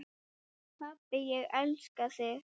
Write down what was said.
Pabbi, ég elska þig.